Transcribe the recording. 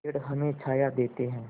पेड़ हमें छाया देते हैं